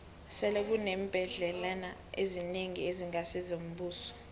sele kuneembhendlela ezinengi ezingasi ngezombuso